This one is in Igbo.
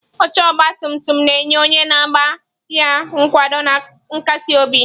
Oche ọgba tum tum na-enye onye na-agba ya nkwado na nkasi obi.